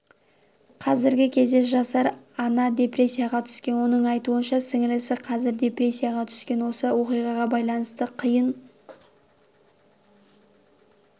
қазіргі кезде жасар ана депрессияға түскен оның айтуынша сіңілісі қазір депрессияға түскен осы оқиғаға байланысты қиын